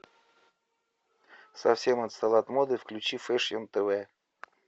совсем отстал от моды включи фэшн тв